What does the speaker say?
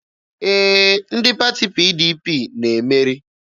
Ee, ndị pati PDP na-emeri.